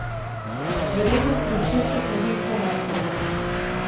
Verjetnost vročinskih neviht bo majhna.